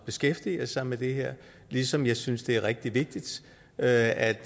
beskæftiger sig med det her ligesom jeg synes det er rigtig vigtigt at